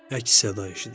Əks-səda eşidildi.